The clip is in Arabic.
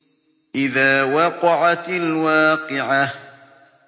إِذَا وَقَعَتِ الْوَاقِعَةُ